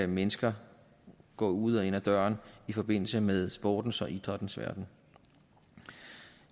mennesker gå ud og ind ad døren i forbindelse med sportens og idrættens verden